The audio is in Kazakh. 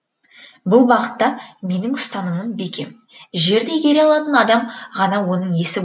бұл бағытта менің ұстанымым бекем жерді игере алатын адам ғана оның иесі